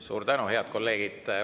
Suur tänu, head kolleegid!